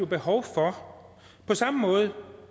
behov for på samme måde